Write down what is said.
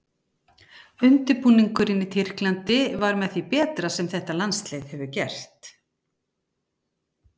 Undirbúningurinn í Tyrklandi var með því betra sem þetta landslið hefur gert.